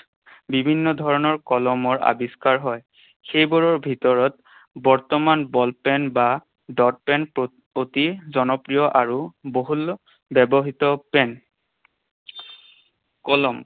বিভিন্ন ধৰণৰ কলমৰ আৱিষ্কাৰ হয়। সেইবোৰৰ ভিতৰত বৰ্তমান ball pen বা dot pen অতি জনপ্ৰিয় আৰু বহুল্য ব্যৱহৃত pen । কলম